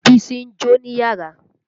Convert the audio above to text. Bísí ń jó níyàrá.